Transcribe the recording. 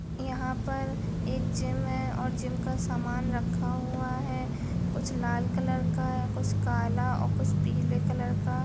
यहाँ पर एक जिम है और जिम का समान रखा हुआ है कुछ लाल कलर का है कुछ काला और कुछ पीले कलर का --